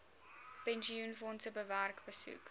pensioenfondse werk besoek